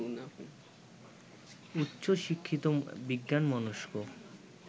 উচ্চ শিক্ষিত বিজ্ঞানমনস্ক